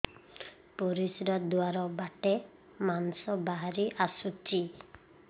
ପରିଶ୍ରା ଦ୍ୱାର ବାଟେ ମାଂସ ବାହାରି ଆସୁଛି